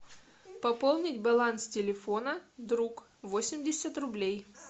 пополнить баланс телефона друг восемьдесят рублей